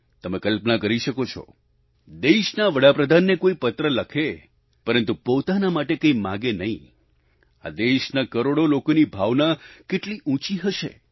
તમે કલ્પના કરી શકો છો દેશના વડાપ્રધાનને કોઈ પત્ર લખે પરંતુ પોતાને માટે કંઈ માંગે નહીં આ દેશના કરોડો લોકોની ભાવના કેટલી ઉંચી હશે